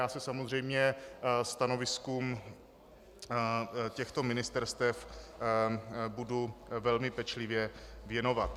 Já se samozřejmě stanoviskům těchto ministerstev budu velmi pečlivě věnovat.